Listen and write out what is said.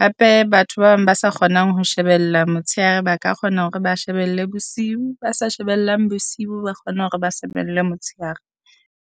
Hape batho ba bang ba sa kgonang ho shebella motshehare ba ka kgona hore ba shebelle bosiu, ba sa shebellang bosiu, ba kgona hore ba shebelle motshehare.